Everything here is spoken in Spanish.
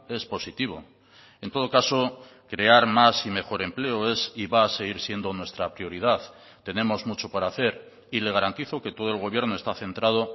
es positivo en todo caso crear más y mejor empleo es y va a seguir siendo nuestra prioridad tenemos mucho por hacer y le garantizo que todo el gobierno está centrado